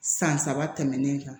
San saba tɛmɛnen kan